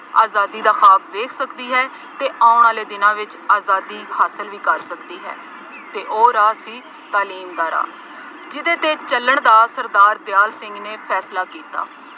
ਆਜ਼ਾਦੀ ਦਾ ਖਾਅਬ ਦੇਖ ਸਕਦੀ ਹੈ ਅਤੇ ਆਉਣ ਆਲੇ ਦਿਂਨਾਂ ਵਿੱਚ ਆਜ਼ਾਦੀ ਹਾਸਿਲ ਵੀ ਕਰ ਸਕਦੀ ਹੈ ਅਤੇ ਉਹ ਰਾਹ ਸੀ ਤਾਲੀਮ ਦਾ ਰਾਹ, ਜਿਹਦੇ ਤੇ ਚੱਲਣ ਦਾ ਸਰਦਾਰ ਦਿਆਲ ਸਿੰਘ ਨੇ ਫੈਸਲਾ ਕੀਤਾ।